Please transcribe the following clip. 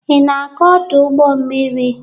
Ị na-aga ọdụ ụgbọ mmiri?